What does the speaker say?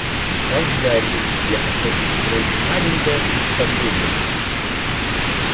а сейчас гарри я хотел бы устроить маленькое представление